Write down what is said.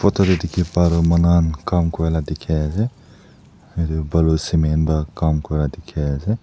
itu hoile dikhi pa toh manu han kaam kurela dikhi ase yatey balu cemen pa kaam kura dikhi ase.